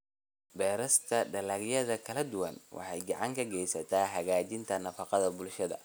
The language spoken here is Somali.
Beerista dalagyada kala duwan waxay gacan ka geysataa hagaajinta nafaqada bulshada.